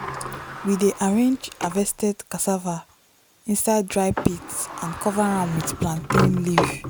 we dey arrange harvested cassava inside dry pit and cover am with plantain leaf.